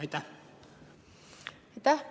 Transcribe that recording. Aitäh!